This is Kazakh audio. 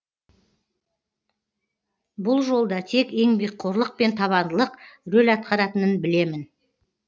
бұл жолда тек еңбекқорлық пен табандылық рөл атқаратынын білемін